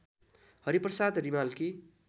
Hariprasad रिमालकी